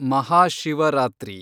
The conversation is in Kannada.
ಮಹಾಶಿವರಾತ್ರಿ